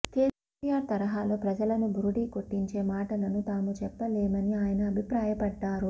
కెసిఆర్ తరహలో ప్రజలను బురిడీ కొట్టించే మాటలను తాము చెప్పలేమని ఆయన అభిప్రాయపడ్డారు